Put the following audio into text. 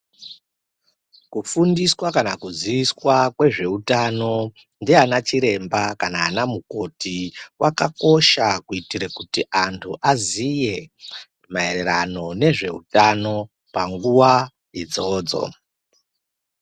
Kufundiswa kana kuziiswa kwezveutano ndiana Chiremba kana anamukoti kwakakosha kuitira kuti antu aziye maererano nezveutano panguwa idzodzo.